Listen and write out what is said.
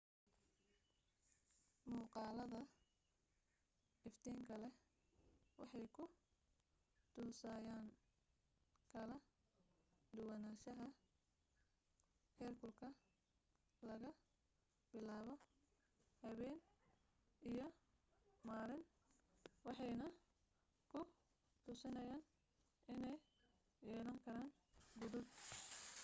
muuqaalada iftiinka leh waxay ku tusayaan kala duwanaanshaha heerkulka laga bilaabo habeen iyo maalin waxayna ku tusinayaan inay yelankaran godad